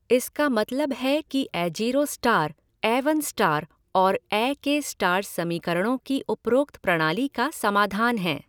इसका मतलब है कि ऐजीरो स्टार, ऐवन स्टार और ऐ के स्टार समीकरणों की उपरोक्त प्रणाली का समाधान हैं।